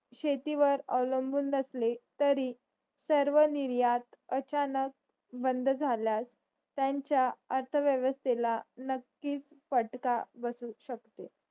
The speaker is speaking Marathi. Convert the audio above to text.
शेतीवर अवलंबून नसले तरी सर्व निर्यात अचानक बंद जाल्यात त्यांचा अर्थ व्यवस्तेला नकीच फटका बसू शकतो